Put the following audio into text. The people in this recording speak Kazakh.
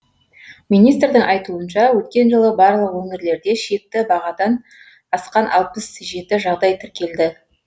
министрдің айтуынша өткен жылы барлық өңірлерде шекті бағадан асқан алпыс жеті жағдай тіркелді